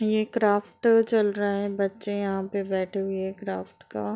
यह एक क्राफ्ट चल रहा है। बच्चे यहाँ पे बैठे हुए क्राफ्ट का --